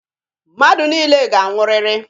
Mmadụ niile ga-anwụrịrị.